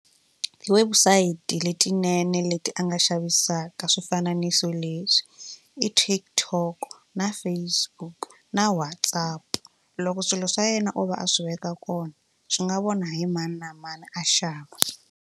Ti-website letinene leti a nga xavisaka swifananiso leswi i TikTok na Facebook na WhatsApp loko swilo swa yena o va a swi veka kona swi nga vona hi mani na mani a xava.